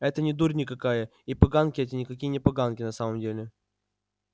это не дурь никакая и поганки эти никакие не поганки на самом деле